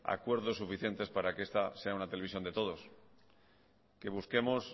acuerdos suficientes para que esta sea una televisión de todos que busquemos